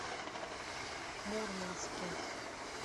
мурманске